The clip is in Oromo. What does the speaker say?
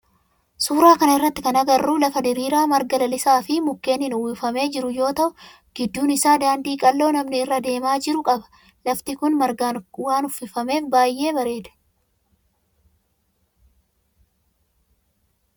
Suuraa kana irratti kan agarru lafa diriiraa marga lalisaa fi mukkeenin uwwifamee jiru yoo ta'u gidduun isaa daandii qal'oo namni irra deemaa jiru qaba. Lafti kun margaan waan uwwifameef baayyee bareeda.